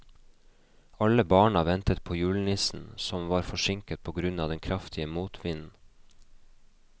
Alle barna ventet på julenissen, som var forsinket på grunn av den kraftige motvinden.